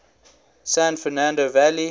san fernando valley